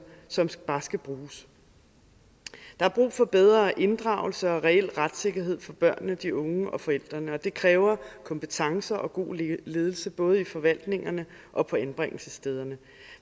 som bare skal bruges der er brug for bedre inddragelse og reel retssikkerhed for børnene de unge og forældrene og det kræver kompetence og god ledelse i både forvaltningerne og på anbringelsesstederne